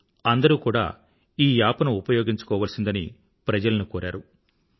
ఓ అందరూ కూడా ఈ యాప్ ను ఉపయోగించుకోవలసిందని ప్రజలను కోరారు